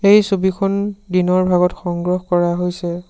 এই ছবিখন দিনৰ ভাগত সংগ্ৰহ কৰা হৈছে।